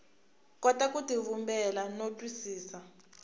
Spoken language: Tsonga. kota ku tivumbela no twisisa